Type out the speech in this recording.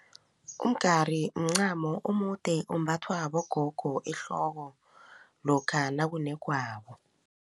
Umgari mncamo omude ombathwa bogogo ehloko lokha nakunegwabo.